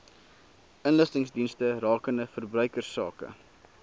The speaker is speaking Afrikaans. inligtingsdienste rakende verbruikersake